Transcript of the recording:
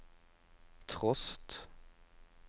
trost